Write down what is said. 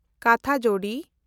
ᱠᱟᱴᱷᱟᱡᱳᱲᱤ